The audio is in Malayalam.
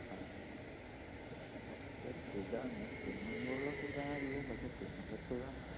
ഒരു സുഖാണ് തിന്നുമ്പോള്ളൊരു സുഖമേയുള്ളു പക്ഷെ തിന്നുമ്പൊരു സുഖാണ്